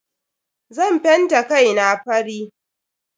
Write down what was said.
Zan fenta kai na fari.